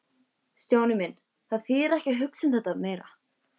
Stjáni minn, það þýðir ekki að hugsa um þetta meira.